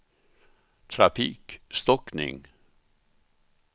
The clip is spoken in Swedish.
trafikstockning